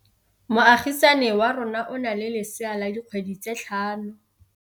Moagisane wa rona o na le lesea la dikgwedi tse tlhano.